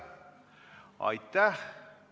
Aitäh!